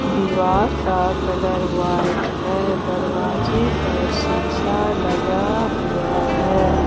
दीवार का colour white है दरवाजे पर शीशा लगा हुआ है।